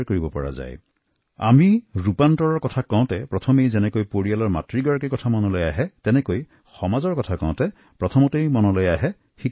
আমাৰ দেশত যেতিয়া পৰিৱৰ্তনৰ কথা আহে এইটো ঠিক যিদৰে পৰিয়ালত মাৰ কথা মনলৈ আহৈ তেনেকৈয়ে সমাজত শিক্ষকৰ ভূমিকা মনলৈ আহে